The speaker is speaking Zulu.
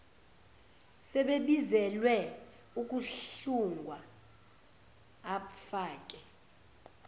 sebebizelwe ukuhlungwa abfake